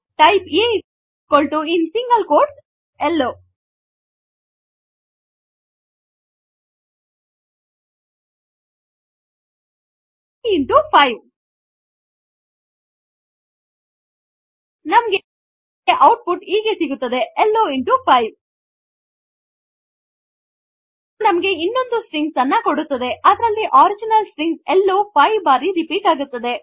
type a in single quotes hello type a into 5 ನಮಗೆ output ಹೀಗೆ ಸಿಗುತ್ತದೆ hello into 5 ಇದು ನಮಗೆ ಇನ್ನೊಂದು ಸ್ಟ್ರಿಂಗ್ ಅನ್ನು ಕೊಡುತ್ತದೆ ಅದರಲ್ಲಿ ಒರಿಜಿನಲ್ ಸ್ಟ್ರಿಂಗ್ ಹೆಲ್ಲೊ 5 ಬಾರಿ ರೀಪೀಟ್ ಆಗಿದೆ